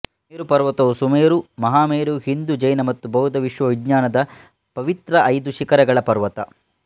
ಮೇರು ಪರ್ವತವು ಸುಮೇರು ಮಹಾಮೇರು ಹಿಂದೂ ಜೈನ ಮತ್ತು ಬೌದ್ಧ ವಿಶ್ವವಿಜ್ಞಾನದ ಪವಿತ್ರ ಐದು ಶಿಖರಗಳ ಪರ್ವತ